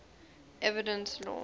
evidence law